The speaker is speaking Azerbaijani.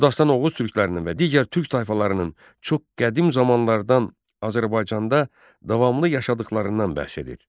Bu dastan Oğuz türklərinin və digər türk tayfalarının çox qədim zamanlardan Azərbaycanda davamlı yaşadıqlarından bəhs edir.